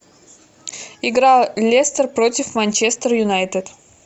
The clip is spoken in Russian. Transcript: игра лестер против манчестер юнайтед